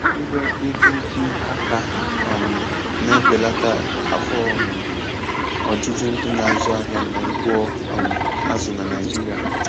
Iwe ihe ubi aka um na-ebelata afọ um ojuju ndị na-azụ ahịa n'ugbo um azụ na Naijiria.